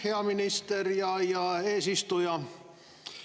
Hea minister ja eesistuja!